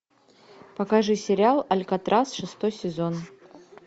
покажи сериал алькатрас шестой сезон